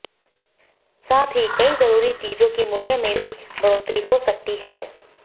साथ ही कई जरूरी चोजों की मूल्य में बी बढ़ोत्तरी हो सकती है